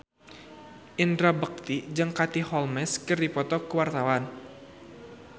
Indra Bekti jeung Katie Holmes keur dipoto ku wartawan